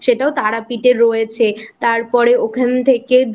সেটাও তারাপীঠে রয়েছে তারপর ওখান থেকে দু